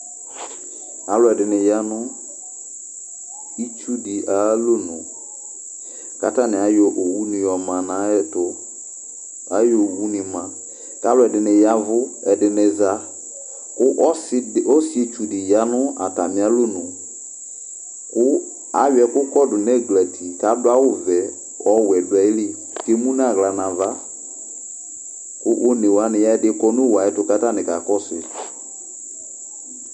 Aaluɛɖini yaa nʋ itsuɖi ayalɔnʋK'atani ayɔ owuɖi yɔma n'ayɛtʋAyɔ owuni ma k'alʋɛɖini yaa ɛvu, ɛɖini zaƆsietsuɖi yanʋ atamialɔnʋ kʋ ayɔ ɛkʋ kɔɖu n'ɛglati k'aɖʋ awuvɛ k'ɔwuɛ ɖʋ ayiili k'emʋ n'awla n'avakʋ onewuni ya nʋ owue ayɛtʋ k'atani kakɔsui